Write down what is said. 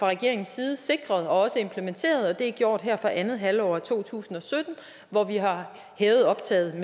regeringens side sikret og også implementeret det er gjort her fra andet halvår af to tusind og sytten hvor vi har hævet optaget